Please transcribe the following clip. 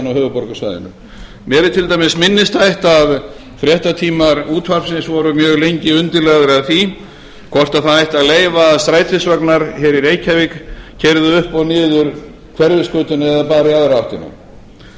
höfuðborgarsvæðinu mér til dæmis minnisstætt að fréttatímar útvarpsins voru mjög lengi undirlagðir af því hvort ætti að leyfa að strætisvagnar hér í reykjavík keyrðu upp og niður hverfisgötuna eða bara í aðra áttina